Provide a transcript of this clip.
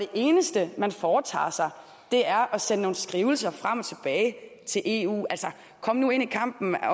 eneste man foretager sig er at sende nogle skrivelser frem og tilbage til eu altså kom nu ind i kampen